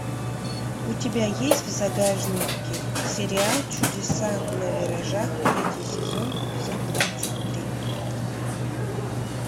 у тебя есть в загашнике сериал чудеса на виражах третий сезон эпизод двадцать три